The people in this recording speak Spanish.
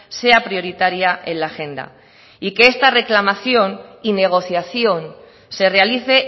sea prioritaria en la agenda y que esta reclamación y negociación se realice